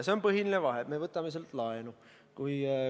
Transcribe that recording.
See on põhiline vahe: me võtame sealt laenu.